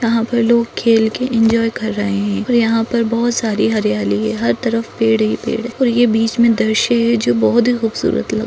यहाँ पर लोग खेल के एंजॉय कर रहे है यहाँ पर बहुत सारी हरियाली है यहाँ तरफ पेड़ ही पेड़ है और यह बीच में दृश्य है जो बहुत ही खूबसूरत लग--